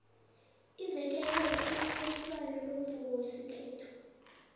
ivekele kunephaliswano lomvumo wesikhethu